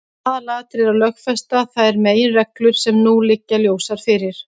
Aðalatriðið er að lögfesta þær meginreglur sem nú liggja ljósar fyrir.